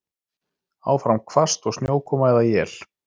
Áfram hvasst og snjókoma eða él